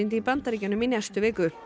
í Bandaríkjunum í næstu viku